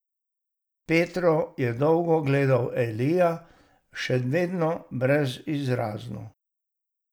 Petro je dolgo gledal Elija, še vedno brezizrazno.